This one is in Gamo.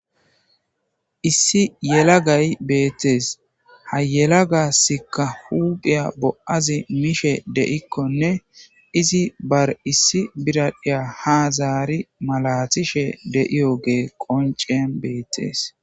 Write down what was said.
Issi yelagay beettees ha yelagasika huuphiya bo7azi mishe deikkonne izi bar issi biradhiya hazaari malatishe de7iyo gee qonceen beettees.